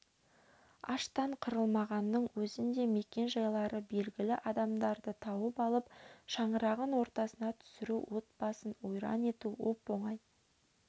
аштан қырылмағанның өзінде мекен-жайлары белгілі адамдарды тауып алып шаңырағын ортасына түсіру отбасын ойран ету оп-оңай